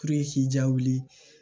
k'i jaa wuli